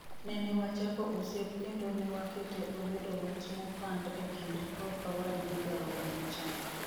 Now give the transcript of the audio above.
Nenewachako osiep kendo newakete obedo wach mopand e kinda kod owad gi jaoda machon.